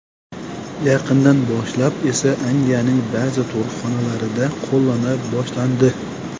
Yaqindan boshlab esa Angliyaning ba’zi tug‘ruqxonalarida qo‘llana boshlandi.